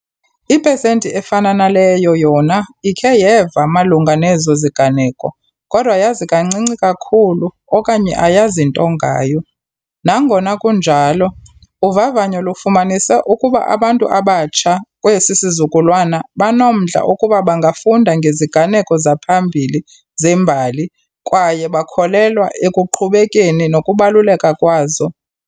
Ipesenti efana naleyo yona ikhe yeva malunga nezo ziganeko kodwa yazi kancinci kakhulu okanye ayazi nto ngayo. Nangona kunjalo, uvavanyo lufumanise ukuba abantu abatsha kwesi sizukulwana banomdla ukuba bangafunda ngeziganeko zaphambili zembali kwaye bakholelwa ekuqhubekeni nokubaluleka kwazo.